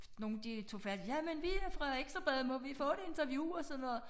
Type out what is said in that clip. Nogle de tog fat jamen vi er fra Ekstra Bladet må vi få et interview og sådan noget